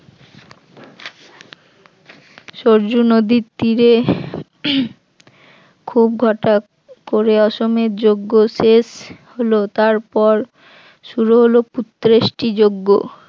সরযূ নদীর তীরে উম খুব ঘটা করে অশ্বমেধ যজ্ঞ শেষ হলো, তারপর শুরু হল পুত্রেষ্টি যজ্ঞ